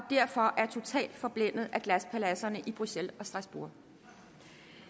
derfor er totalt forblændet af glaspaladserne i bruxelles og strasbourg